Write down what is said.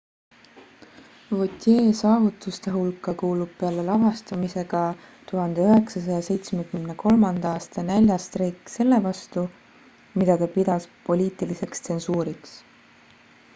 vautier' saavutuste hulka kuulub peale lavastamise ka 1973 aasta näljastreik selle vastu mida ta pidas poliitiliseks tsensuuriks